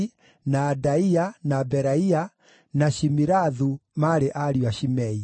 na Adaia, na Beraia, na Shimirathu maarĩ ariũ a Shimei.